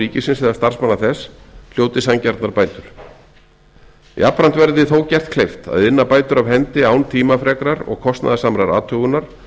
ríkisins eða starfsmanna þess hljóti sanngjarnar bætur jafnframt verði þó gert kleift að inna bætur af hendi án tímafrekrar og kostnaðarsamrar athugunar